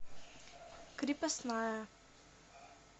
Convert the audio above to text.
крепостная